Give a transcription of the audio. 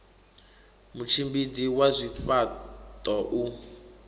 mutshimbidzi wa zwifha ṱo u